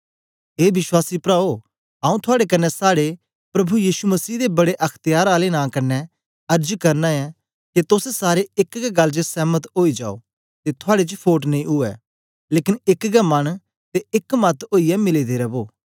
ए विश्वासी प्राओ आऊँ थुआड़े कन्ने साड़े प्रभु यीशु मसीह दे बड्डे अख्त्यार आले नां कन्ने अर्ज करना ऐं के तोस सारे एक गै गल्ल च सेंमत ओई जाओ ते थुआड़े च फोट नेई उवै लेकन एक गै मन ते एक मत ओईयै मिले दे रवो